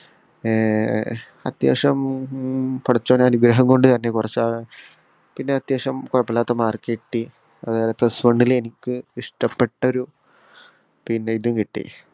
ഏർ ഏർ അത്യാവശ്യം പടച്ചോന്റെ അനുഗ്രഹം കൊണ്ട് തന്നെ കൊർചാ പിന്ന അത്യാവിശ്യം കൊയപ്പോല്ലാത്ത mark കിട്ടി ആതായേ plus one ൽ എനിക്ക് ഇഷ്ടപ്പെട്ടൊരു പിന്നെ ഇതും കിട്ടി